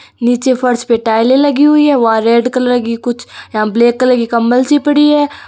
नीचे फर्श पर टाइले लगी हुई है वहां पर रेड कलर की कुछ ब्लैक कलर की कम्बल सी पड़ी है।